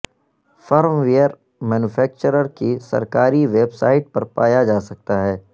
firm where manufacturer کی سرکاری website پر پایا جا سکتا ہے